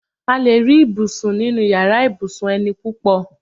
A lè rí ibùsùn nínu yàrá ibùsùn eni púpọ̀